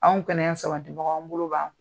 Anw kɛnɛyasabibaaw an bolo b'an kƆ.